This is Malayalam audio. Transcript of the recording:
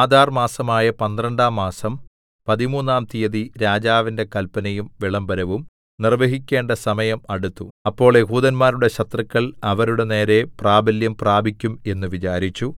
ആദാർ മാസമായ പന്ത്രണ്ടാം മാസം പതിമൂന്നാം തീയതി രാജാവിന്റെ കല്പനയും വിളംബരവും നിർവ്വഹിക്കേണ്ട സമയം അടുത്തു അപ്പോൾ യെഹൂദന്മാരുടെ ശത്രുക്കൾ അവരുടെ നേരെ പ്രാബല്യം പ്രാപിക്കും എന്ന് വിചാരിച്ചു